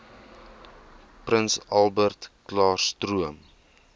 prins albertklaarstroom